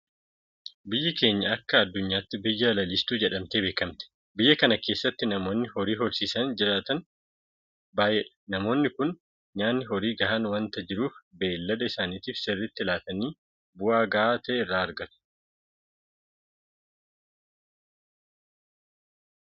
Biyyi keenya akka addunyaatti biyya lalistuu jedhamtee beekamti. Biyya kana keessatti namoonni horii horsiisanii jiraatan baay'eedha. Namoonni kun nyaanni horii gahaan waanta jiruuf beellada isaaniitiif sirriitti laataniitu bu'aa gahaa ta'e irraa argatu.